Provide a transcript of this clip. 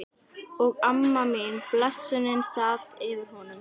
Og amma mín, blessunin, sat yfir honum.